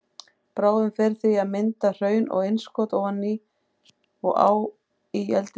Bráðin fer því í að mynda hraun og innskot ofan á og í eldri skorpu.